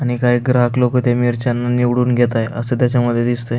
आणि काही ग्राहक लोक त्या मिरच्याना निवडून घेताय अस त्यामध्ये दिसतंय.